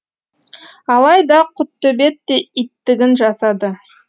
алайда құттөбет те иттігін жасады